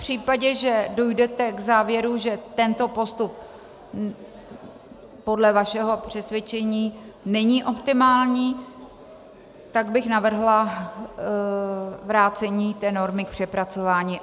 V případě, že dojdete k závěru, že tento postup podle vašeho přesvědčení není optimální, tak bych navrhla vrácení té normy k přepracování.